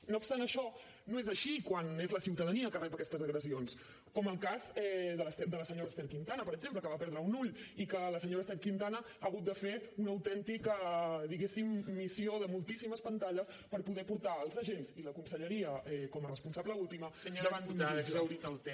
no obstant això no és així quan és la ciutadania la que rep aquestes agressions com el cas de la senyora ester quintana per exemple que va perdre un ull i que la senyora ester quintana ha hagut de fer una autèntica diguéssim missió de moltíssimes pantalles per poder portar els agents i la conselleria com a responsable última davant d’un jutge